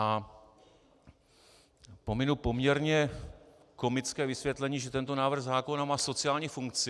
A pominu poměrně komické vysvětlení, že tento návrh zákona má sociální funkci.